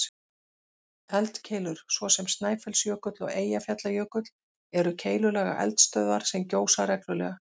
Eldkeilur, svo sem Snæfellsjökull og Eyjafjallajökull, eru keilulaga eldstöðvar sem gjósa reglulega.